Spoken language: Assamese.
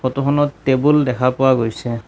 ফটোখনত টেবুল দেখা পোৱা গৈছে।